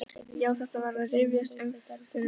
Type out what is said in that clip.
Já, þetta var að rifjast upp fyrir honum.